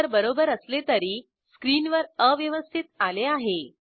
उत्तर बरोबर असले तरी स्क्रीनवर अव्यवस्थित आले आहे